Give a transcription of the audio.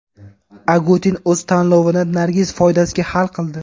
Agutin o‘z tanlovini Nargiz foydasiga hal qildi.